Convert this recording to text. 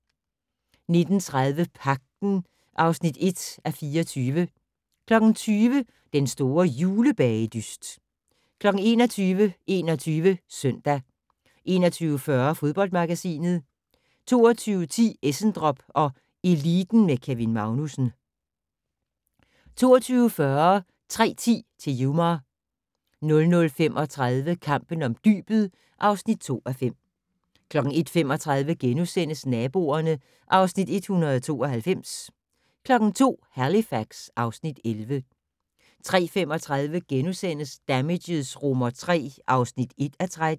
19:30: Pagten (1:24) 20:00: Den store julebagedyst 21:00: 21 Søndag 21:40: Fodboldmagasinet 22:10: Essendrop & Eliten med Kevin Magnussen 22:40: 3:10 til Yuma 00:35: Kampen om dybet (2:5) 01:35: Naboerne (Afs. 192)* 02:00: Halifax (Afs. 11) 03:35: Damages III (1:13)*